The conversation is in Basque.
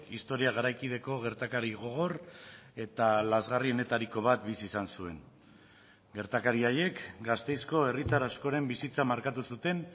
historia garaikideko gertakari gogor eta lazgarrienetariko bat bizi izan zuen gertakari haiek gasteizko herritar askoren bizitza markatu zuten